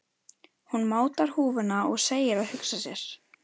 Hún mátar húfuna og segir að hugsa sér.